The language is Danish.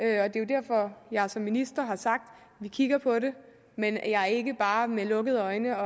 er jo derfor jeg som minister har sagt at vi kigger på det men at jeg ikke bare med lukkede øjne